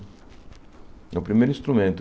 É o primeiro instrumento.